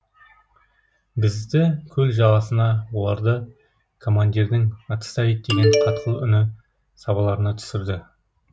бізді көл жағасына оларды командирдің отставить деген қатқыл үні сабаларына түсірді